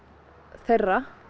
þeirra